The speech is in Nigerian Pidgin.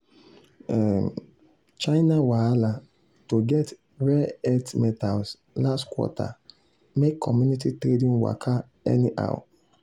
um china wahala to get rare earth metals last quarter make commodity trading waka anyhow.